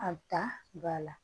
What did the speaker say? A ta ba la